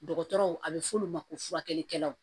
Dɔgɔtɔrɔw a bɛ f'olu ma ko furakɛlikɛlaw